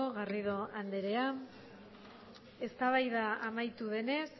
garrido andrea eztabaida amaitu denez